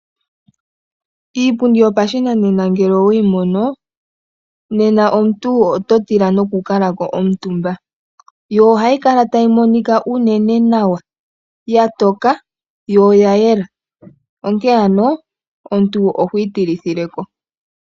Iipundi yopashinanena ngele oweyi mono, nena omuntu oto tila nokukalako omutumba yo ohayi kala tayi monika uunene nawa, ya toka yo oya yela onke ano omuntu ohwiitilithileko.